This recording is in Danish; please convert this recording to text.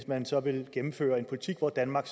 man så vil gennemføre en politik hvor danmark